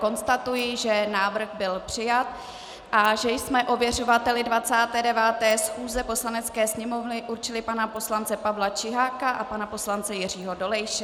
Konstatuji, že návrh byl přijat a že jsme ověřovateli 29. schůze Poslanecké sněmovny určili pana poslance Pavla Čiháka a pana poslance Jiřího Dolejše.